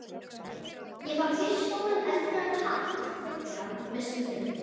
Ég fann fyrst stóran eldrauðan hatt geggjaðan, með slöri.